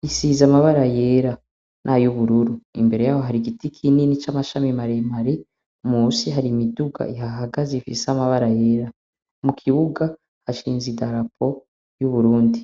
risize amabara yera nay'ubururu imbere yaho hari igiti kinini c'amashami maremare munsi hari imiduga ihahagaze ifise amabara yera. Mu kibuga hashinze idarapo ry'Uburundi.